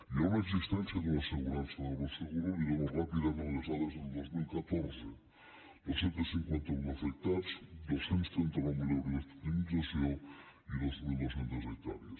hi ha una existència d’una assegurança d’agroseguro li dono ràpidament les dades del dos mil catorze dos cents i cinquanta un afectats dos cents i trenta nou mil euros d’indemnització i dos mil dos cents hectàrees